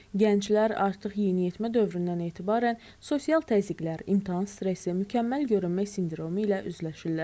Gənclər artıq yeniyetmə dövründən etibarən sosial təzyiqlər, imtahan stresi, mükəmməl görünmə sindromu ilə üzləşirlər.